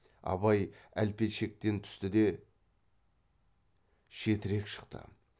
абай әлпеншектен түсті де шетірек шықты